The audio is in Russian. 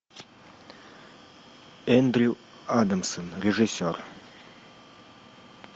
эндрю адамсон режиссер